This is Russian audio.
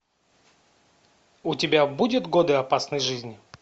у тебя будет годы опасной жизни